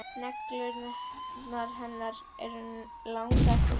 Neglur hennar eru langar og gular.